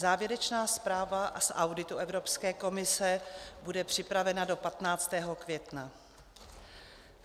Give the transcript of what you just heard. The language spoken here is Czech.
Závěrečná zpráva z auditu Evropské komise bude připravena do 15. května.